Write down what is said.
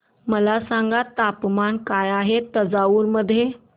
मला सांगा तापमान काय आहे तंजावूर मध्ये